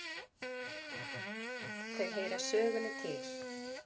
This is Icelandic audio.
Þau heyra sögunni til.